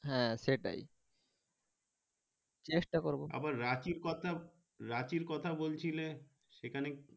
হ্যাঁ সেটাই চেষ্টা করবো আবার রাঁচি কথা রাঁচি কথাবলছিলে সেখানে।